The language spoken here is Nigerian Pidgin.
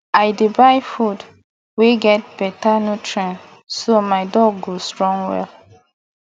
i dey buy food wey get better nutrients so my dog go strong well